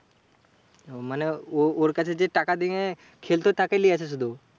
মানে ও ওর কাছে যে টাকা দিয়ে খেলত, তাকে লিয়েছে শুধু?